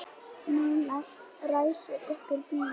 Nú ræsir einhver bíl.